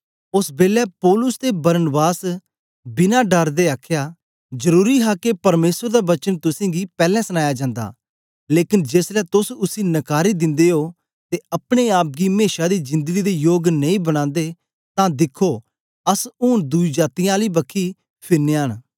ओस बेलै पौलुस ते बरनबास ने बिना डर दे आखया जरुरी हा के परमेसर दा वचन तुसेंगी पैलैं सनाया जंदा लेकन जेसलै तोस उसी नकारी दिंदे ओ ते अपने आप गी मेशा दी जिंदड़ी दे योग नेई बनांदे तां दिखो अस ऊन दुई जातीयें आली बखी फिरनयां न